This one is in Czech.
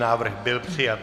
Návrh byl přijat.